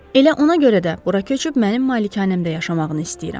Elə ona görə də bura köçüb mənim malikanəmdə yaşamağını istəyirəm.